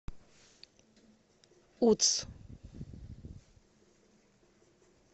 утс